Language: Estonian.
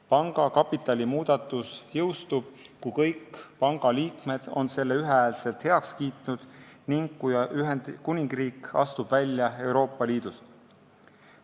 Panga kapitali muudatus jõustub, kui kõik panga liikmed on selle ühehäälselt heaks kiitnud ning kui Ühendkuningriik astub Euroopa Liidust välja.